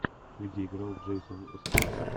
где играл джейсон стэйтем